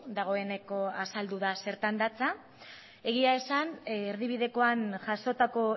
dagoeneko azaldu da zertan datza egia esan erdibidekoan jasotako